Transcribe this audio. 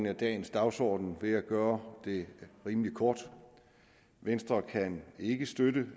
af dagens dagsorden ved at gøre det rimelig kort venstre kan ikke støtte